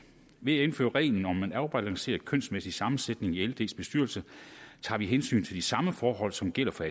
ved at indføre reglen om en afbalanceret kønsmæssig sammensætning i lds bestyrelse tager vi hensyn til de samme forhold som gælder for